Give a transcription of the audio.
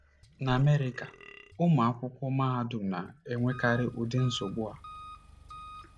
N’Amerịka, ụmụ akwụkwọ mahadum na - enwekarị ụdị nsogbu a.